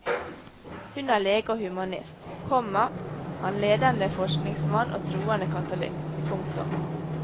Hun er lege og humanist, komma han ledende forsikringsmann og troende katolikk. punktum